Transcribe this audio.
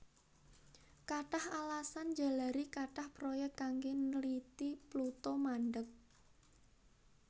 Kathah alasan njalari kathah proyék kanggé nliti Pluto mandheg